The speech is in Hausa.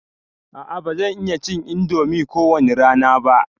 A'a ba zan iya cin indomi ko wani rana ba.